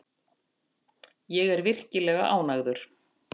Ég er virkilega ánægður.